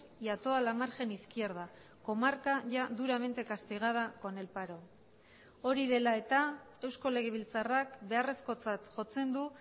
y a toda la margen izquierda comarca ya duramente castigada con el paro hori dela eta eusko legebiltzarrak beharrezkotzat jotzen du